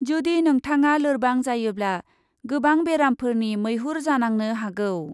जुदि नोंथाङा लोरबां जायोब्ला, गोबां बेरामफोरनि मैहुर जानांनो हागौ ।